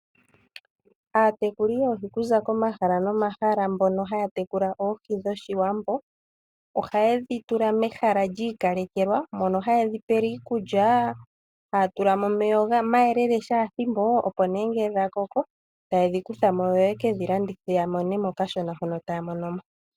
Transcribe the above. Aatekuli yoohi kuza komahala nomahala mboka haya tekula oohi dhoshiwambo, oha yedhi tula mehala lyiikalekelwa mono ha yedhi pele iikulya. Haya tula mo omeya omayelele kehe ethimbo. Opo nduno ngele dha koko ta yedhi kutha mo, yo ye kedhi landithe ya mone mo kashona hono taya mono mo.